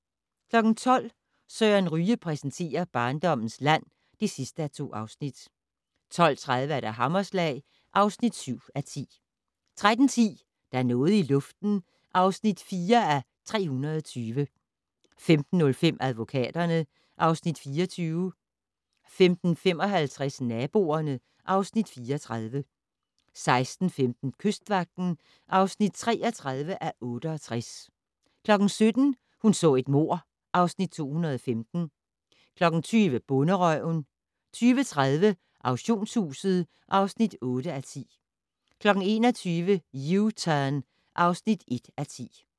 12:00: Søren Ryge præsenterer: Barndommens land (2:2) 12:30: Hammerslag (7:10) 13:10: Der er noget i luften (4:320) 15:05: Advokaterne (Afs. 24) 15:55: Naboerne (Afs. 34) 16:15: Kystvagten (33:68) 17:00: Hun så et mord (Afs. 215) 20:00: Bonderøven 20:30: Auktionshuset (8:10) 21:00: U-Turn (1:10)